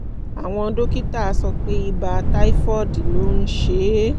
àwọn dókítà sọ pé ibà typhoid ló ń ṣe é